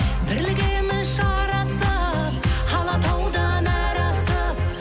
бірлігіміз жарасып алатаудан әрі асып